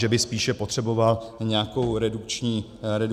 Že by spíše potřeboval nějakou redukční dietu.